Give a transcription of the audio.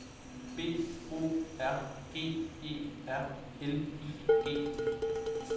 B O R G E R L I G